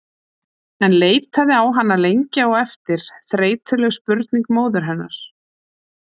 En leitaði á hana lengi á eftir þreytuleg spurning móður hennar